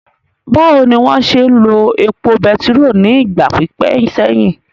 Báwo ni wọ́n ṣe ń lo epo bẹtiró ní ìgbà pípẹ́ sẹ́yìn?